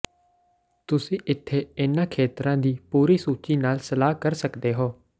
ਤੁਸੀਂ ਇੱਥੇ ਇਹਨਾਂ ਖੇਤਰਾਂ ਦੀ ਪੂਰੀ ਸੂਚੀ ਨਾਲ ਸਲਾਹ ਕਰ ਸਕਦੇ ਹੋ